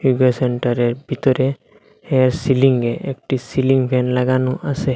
যোগা সেন্টারের ভিতরে হেয়ার সিলিংয়ে একটি সিলিং ফ্যান লাগানো আসে।